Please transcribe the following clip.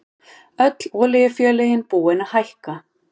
Öll olíufélögin búin að hækka